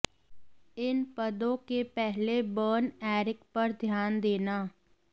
इन पदों के पहले बर्न एरिक पर ध्यान देना